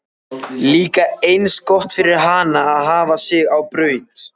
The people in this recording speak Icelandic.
Líka eins gott fyrir hana að hafa sig á braut!